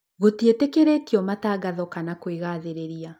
Gũtiĩtĩkĩrĩtio matangatho kana kwĩgathĩrĩria